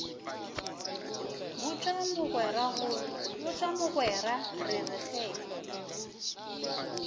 botša mogwera re re ge